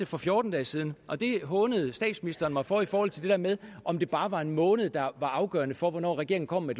for fjorten dage siden og det hånede statsministeren mig for altså i forhold til det der med om det bare var en måned der var afgørende for hvornår regeringen kom med